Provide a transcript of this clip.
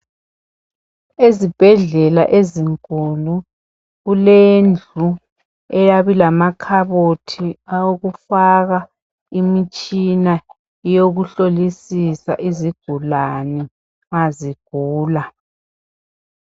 ezibhedlela ezinkulu kulendlu eyabe ilamakhabothi awokufaka imitshina yokuhlolisisa izigulani ma zigula